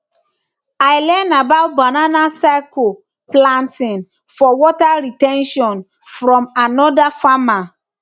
i learn about banana circle planting for water re ten tion from another farmer